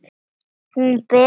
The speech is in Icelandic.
Hún, Bera, dró úr.